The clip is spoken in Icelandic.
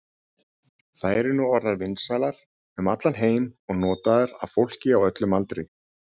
Þær eru nú orðnar vinsælar um allan heim og notaðar af fólki á öllum aldri.